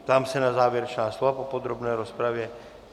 Ptám se na závěrečná slova po podrobné rozpravě.